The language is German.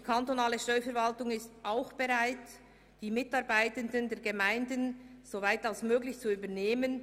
Die kantonale Steuerverwaltung ist auch bereit, die Mitarbeitenden der Gemeinden soweit wie möglich zu übernehmen.